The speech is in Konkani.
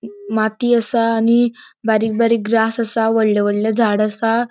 माती असा आणि बारीक बारीक ग्रास असा वडले वडले झाड़ असा.